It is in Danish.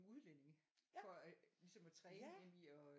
Udlændinge for ligesom at træne dem i at